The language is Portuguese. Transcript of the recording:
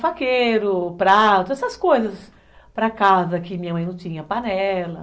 faqueiro, prato, essas coisas para casa que minha mãe não tinha, panela.